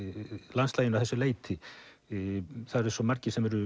landslaginu að þessu leyti það eru svo margir sem eru